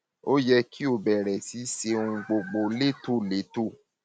ó yẹ kó o bẹrẹ sí í ṣe ohun gbogbo létòlétò